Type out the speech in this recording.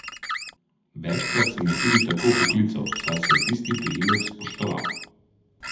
Večkrat sem jo tudi tako poklical, saj sem tisti priimek spoštoval.